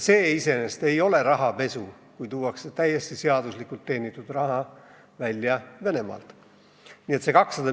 See iseenesest ei ole rahapesu, kui täiesti seaduslikult teenitud raha viiakse Venemaalt välja.